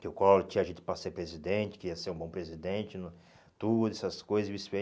Que o Collor tinha jeito para ser presidente, que ia ser um bom presidente, tudo, essas coisas e vice-versa.